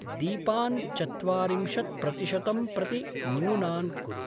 दीपान् चत्वारिंशत्प्रतिशतं प्रति न्यूनान् कुरु।